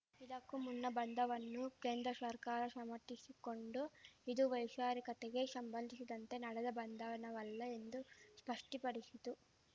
ಇದಕ್ಕೂ ಮುನ್ನ ಬಂಧನವನ್ನು ಕೇಂದ ಸರ್ಕಾರ ಸಮರ್ಥಿಸಿಕೊಂಡು ಇದು ವೈಚಾರಿಕತೆಗೆ ಶಂಬಂಧಿಶಿದಂತೆ ನಡೆದ ಬಂಧನವಲ್ಲ ಎಂದು ಸ್ಪಷ್ಟಪಡಿಶಿತು